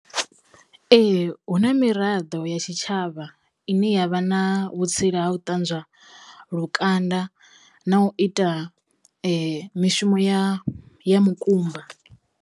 Ee hu na miraḓo ya tshitshavha ine yavha na vhutsila ha u ṱanzwa lukanda na u ita mishumo ya ya mukumba.